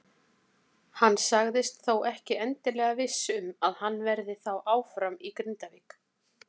Hann sagðist þó ekki endilega viss um að hann verði þá áfram í Grindavík.